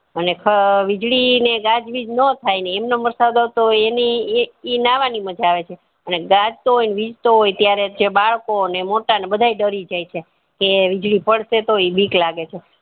અને ખ વીજળી ને ગાજ વીજ નો થાય ને એમ નેમ વરસાદ આવતો હોય એની ઈ નાહવા ની મજ આવે છે અને ગાજતો હોત વિજતો હોય ત્યારે જે બાળકો ને મોટા ને બધાય ડરી જાય છે તે વીજળી પડશે તો ઈ બીક લાગે છે